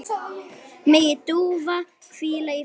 Megi Dúa hvíla í friði.